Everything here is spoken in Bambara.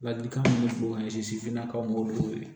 Ladilikan min f'u ka sifinnakaw de wele